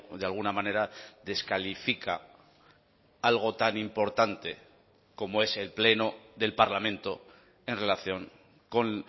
de alguna manera descalifica algo tan importante como es el pleno del parlamento en relación con